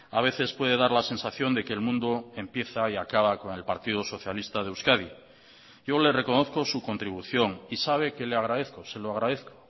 a veces puede dar la sensación de que el mundo empieza y acaba con el partido socialista de euskadi yo le reconozco su contribución y sabe que le agradezco se lo agradezco